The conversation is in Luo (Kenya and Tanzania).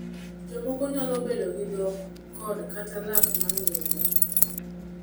Jomoko nyalo bedo gi dhok kod/kata lak ma ng’injo.